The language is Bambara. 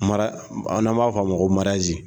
A n'an b"a fɔ a ma ko